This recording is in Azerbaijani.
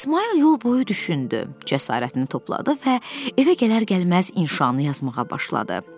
İsmayıl yol boyu düşündü, cəsarətini topladı və evə gələr-gəlməz inşanı yazmağa başladı.